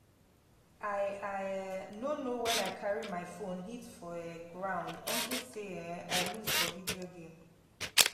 i i um no know wen i carry my phone hit for um ground unto say um i lose for the video game